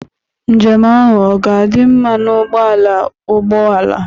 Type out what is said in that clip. Njem ahụ ọ ga-adị mma na ụgbọ ala ụgbọ ala?